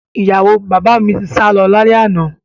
Ìyàwó bàbá mi ti sálọ lálẹ́ àná